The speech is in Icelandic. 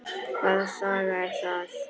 Hvaða saga er það?